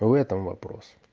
в этом вопрос